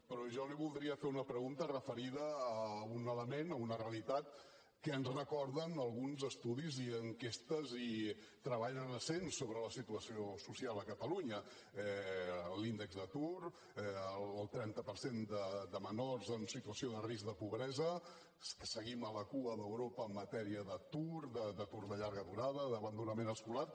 però jo li voldria fer una pregunta referida a un element a una realitat que ens recorden alguns estudis i enquestes i treballs recents sobre la situació social a catalunya l’índex d’atur el trenta per cent de menors en situació de risc de pobresa que seguim a la cua d’europa en matèria d’atur d’atur de llarga durada d’abandonament escolar